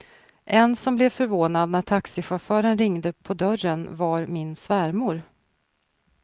En som blev förvånad när taxichauffören ringde på dörren, var min svärmor.